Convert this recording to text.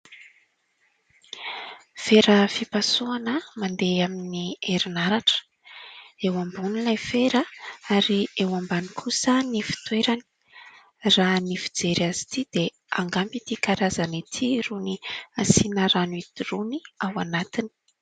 Fera fipasoana mandeha amin'ny erinaratra, eo ambony ilay fera ary eo ambany kosa ny fitoerany, raha ny fijery azy ity dia angamba ity karazana ity no asiana rano idoroany ao anatiny